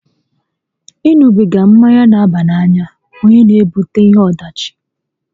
Ị ṅubiga mmanya n'aba n'anya onye n'ebute ihe ọdachi